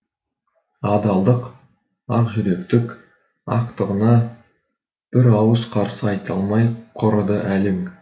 адалдық ақжүректік ақтығына бір ауыз қарсы айта алмай құрыды әлің